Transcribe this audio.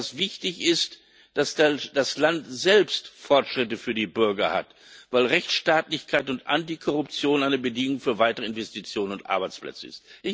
Was wichtig ist, ist, dass das Land selbst Fortschritte für die Bürger hat, weil Rechtsstaatlichkeit, und Antikorruption eine Bedingung für weitere Investitionen und Arbeitsplätze sind.